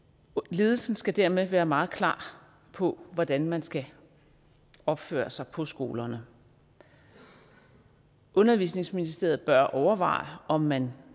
ledelsen skal dermed være meget klar på hvordan man skal opføre sig på skolerne undervisningsministeriet bør overveje om man